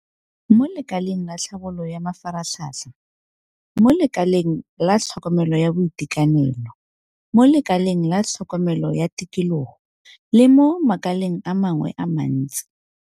Mo lekaleng la tlhabololo ya mafaratlhatlha, mo lekaleng la tlhokomelo ya boitekanelo, mo lekaleng la tlhokomelo ya tikologo le mo makaleng a mangwe a le mantsi.